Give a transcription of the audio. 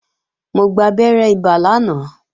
Mo gbabẹ́rẹ́ ibà lánàá